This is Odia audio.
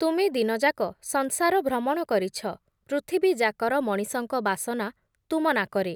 ତୁମେ ଦିନଯାକ ସଂସାର ଭ୍ରମଣ କରିଛ, ପୃଥିବୀଯାକର ମଣିଷଙ୍କ ବାସନା, ତୁମ ନାକରେ ।